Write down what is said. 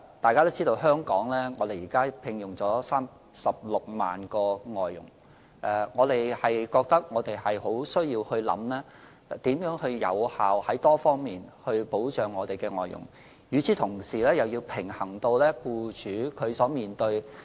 大家知道香港現時聘用了36萬名外傭，當局認為我們需要考慮怎樣多方面有效地保障外傭，同時又要平衡僱主所面對的情況。